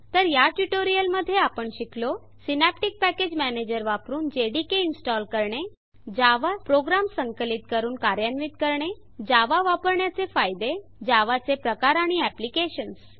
तर या ट्यूटोरियल मध्ये आपण शिकलो सिनॅप्टिक पॅकेज मॅनेजर वापरुन जेडीके इनस्टॉल करणे जावा प्रोग्राम संकलित करून कार्यान्वित करणे जावा वापरण्याचे फायदे जावा चे प्रकार आणि एप्लिकेशन्स